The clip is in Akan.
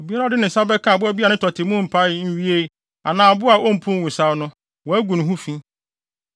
“ ‘Obiara a ɔde ne nsa bɛka aboa biara a ne tɔte mu mpae nwiei anaa aboa a ompuw nwosaw no, wagu ne ho fi.